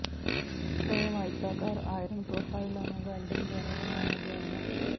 frame ਆਇਤਾਕਾਰ iron ਪ੍ਰੋਫਾਈਲਾਂ ਨੂੰ ਵੈਲਡਿੰਗ ਦੁਆਰਾ ਬਣਾਇਆ ਗਿਆ ਹੈ